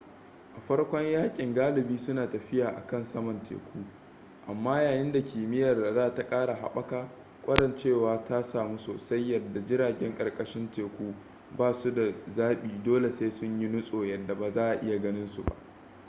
a farkon yakin galibi suna tafiya akan saman teku amma yayin da kimiyyar radar ta kara haɓaka kwarancewa ta samu soasai yadda jiragen karkashin teku basu da zabi dole sai sun yi nutso yadda ba za'a iya ganin su ba